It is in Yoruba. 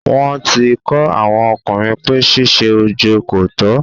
wọ́n ti kọ́ àwọn ọkùnrin pé ṣíṣe ojo kòtọ́.